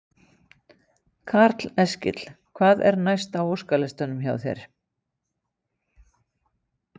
Karl Eskil: Hvað er næst á óskalistanum hjá þér?